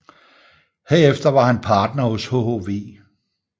Herefter var han Partner hos hhv